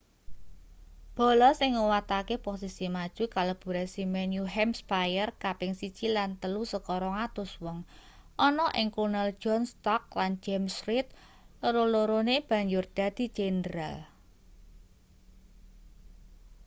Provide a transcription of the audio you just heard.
bala sing nguwatake posisi maju kalebu resimen new hampshire kaping 1 lan 3 saka 200 wong ana ing kulnel john stark lan james reed loro-lorone banjur dadi jendral